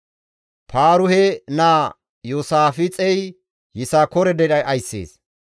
Paaruhe naa Iyoosaafixey Yisakoore dere ayssees.